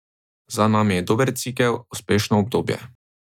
Za nami je dober cikel, uspešno obdobje.